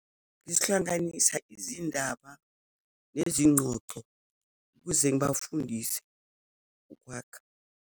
Ngihlanganisa izindaba nezinqoqo ukuze ngibafundise ukwakha.